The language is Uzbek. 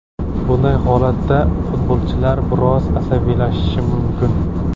Bunday holatda futbolchilar biroz asabiylashishi mumkin.